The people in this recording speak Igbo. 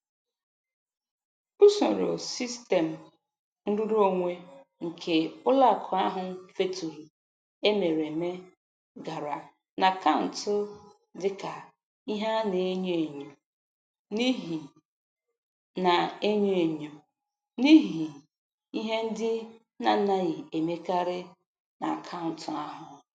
Usoro sistem nrụrụonwe nke ụlọakụ ahụ feturu emereme gara n'akaụntụ dịka ihe a na-enyo enyo n'ihi na-enyo enyo n'ihi ihe ndị na-anaghị emekarị n'akaụntụ ahụ.